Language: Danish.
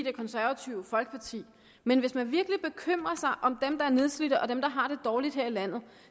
det konservative folkeparti men hvis man virkelig bekymrer sig om dem der er nedslidte og dem der har det dårligt her i landet